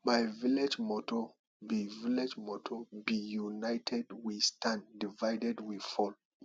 my village motto be village motto be united we stand divided we fall